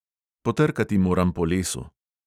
Potrkati moram po lesu.